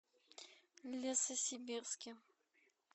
лесосибирске